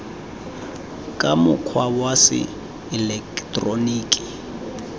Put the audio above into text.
ka mokgwa wa se eleketeroniki